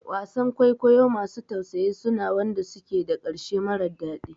Wasan kwaikwayo masu tausayi suna wanda suke da ƙarshe mara daɗi